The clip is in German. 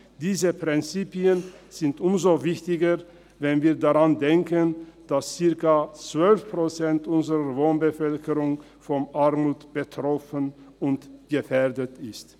Diese Prinzipien sind umso wichtiger, wenn wir daran denken, dass ungefähr zwölf Prozent unserer Wohnbevölkerung von Armut betroffen und gefährdet sind.